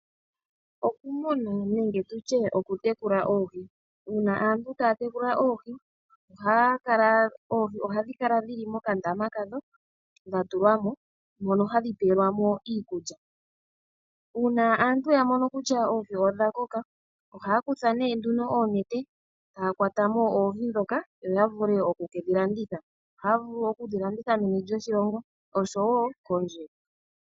Okumuna nenge tu tye okutekula oohi. Uuna aantu taya tekula oohi, oohi ohadhi kala dhi li mokandaama kadho, dha tulwa mo, mono hadhi pelwa mo iikulya. Uuna aantu ya mono kutya oohi odha koka, ohaya kutha nduno oonete, taya kwata mo oohi ndhoka, yo ya vule oku kedhi landitha. Ohaya vulu okudhilanditha meni lyoshilongo, osho wo kondje.